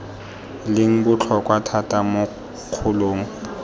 leng botlhokwa thata mo kgolong